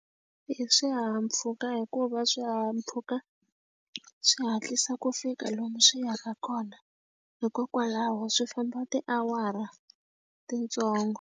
I swihahampfhuka hikuva swihahampfhuka swi hatlisa ku fika lomu swi yaka kona, hikokwalaho swi famba tiawara titsongo.